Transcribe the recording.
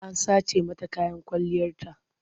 An sace mata kayan kwalliyarta.